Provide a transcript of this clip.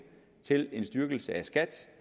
til en styrkelse af skat